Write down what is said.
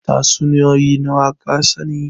Tatsuniyoyi nawa ka sani?